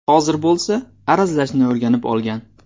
Hozir bo‘lsa, arazlashni o‘rganib olgan.